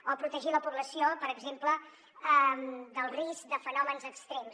o protegir la població per exemple del risc de fenòmens extrems